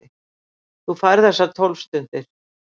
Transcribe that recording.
Þú færð þessar tólf stundir.